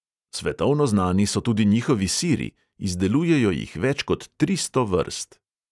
Svetovno znani so tudi njihovi siri; izdelujejo jih več kot tristo vrst.